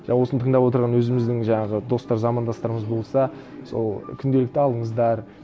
осыны тыңдап отырған өзіміздің жаңағы достар замандастарымыз болса сол күнделікті алыңыздар